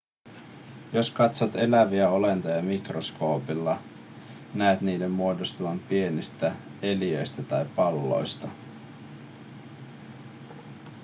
jos katsot eläviä olentoja mikroskoopilla näet niiden muodostuvan pienistä neliöistä tai palloista